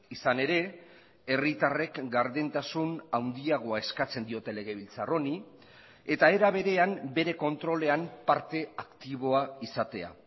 izan ere herritarrek gardentasun handiagoa eskatzen diote legebiltzar honi eta era berean bere kontrolean parte aktiboa izatea